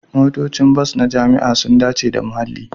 Motocin bas na jama'a sun dace da muhalli.